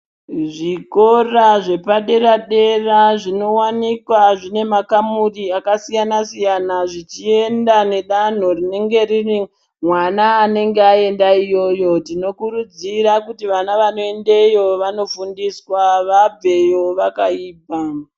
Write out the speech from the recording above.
Zvikora zvepadera dera zvinowanikwa zvine makamuri akasiyana siyana zvichienda nedanho rinenge riri mwana anenge aenda iyoyo, Tinokurudzira kuti vana vanoendeyo vanofundiswa vabveyo vakaibva.